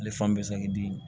Ale fan bɛɛ bɛ saki dimi